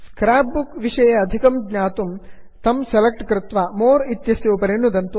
scrapbook विषये अधिकं ज्ञातुं तं सेलेक्ट् कृत्वा मोरे मोर्इत्यस्य उपरि नुदन्तु